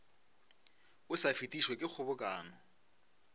o sa fetišwe ke kgobokano